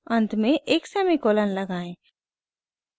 अंत में एक सेमीकोलन लगाएं